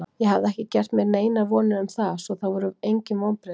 Ég hafði ekki gert mér neinar vonir um það, svo það voru engin vonbrigði.